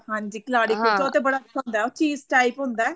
ਹਾਂਜੀ ਕਲਹਾੜੀ ਕੁੱਲਚਾ ਉੱਥੇ ਕਲਹਾੜੀ ਕੁੱਲਚਾ ਬੜਾ cheese type ਹੁੰਦਾ